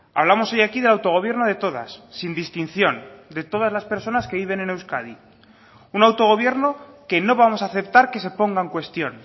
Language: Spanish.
hablamos hoy aquí del autogobierno de todas sin distinción de todas las personas que viven en euskadi un autogobierno que no vamos a aceptar que se ponga en cuestión